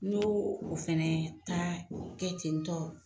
N'o o fɛnɛ ta kɛ ten tɔ